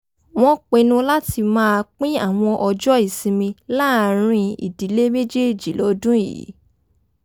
wọ́n pinnu láti máa pín àwọn ọjọ́ ìsinmi láàárín ìdílé méjèèjì lọ́dún yìí